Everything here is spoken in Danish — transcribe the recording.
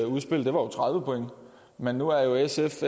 udspil jo var tredive point men nu er sf